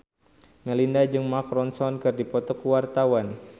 Melinda jeung Mark Ronson keur dipoto ku wartawan